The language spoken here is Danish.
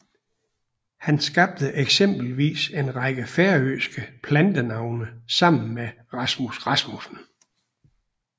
Han skabte eksempelvis en række færøske plantenavne sammen med Rasmus Rasmussen